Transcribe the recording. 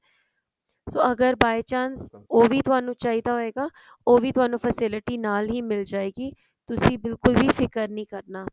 ਸੋ ਅਗਰ by chance ਵੀ ਤੁਹਾਨੂੰ ਚਾਹੀਦਾ ਹੋਇਗਾ ਉਹ ਵੀ ਥੋਨੂੰ facility ਨਾਲ ਹੀ ਮਿਲ ਜਾਇਗੀ ਤੁਸੀਂ ਬਿਲਕੁਲ ਵੀ ਫਿਕਰ ਨੀ ਕਰਨਾ